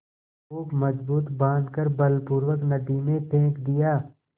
खूब मजबूत बॉँध कर बलपूर्वक नदी में फेंक दिया